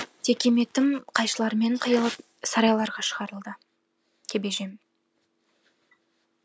текеметім қайшылармен қиылып сарайларға шығарылды кебежем